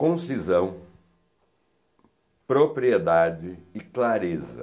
Concisão, propriedade e clareza.